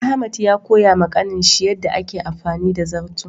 Ahmad ya koya ma Kanin shi yanda a ke amfani da zarto.